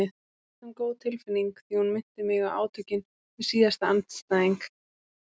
Reyndar næstum góð tilfinning því hún minnti mig á átökin við síðasta andstæðing.